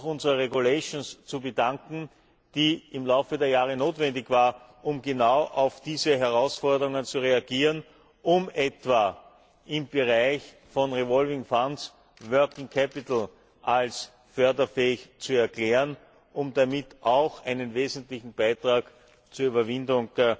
unserer Verordnungen zu bedanken, die im Laufe der Jahre notwendig war, um genau auf diese Herausforderungen zu reagieren, um etwa im Bereich von revolvierenden Fonds Betriebskapital als förderfähig zu erklären, um damit auch einen wesentlichen Beitrag zur Überwindung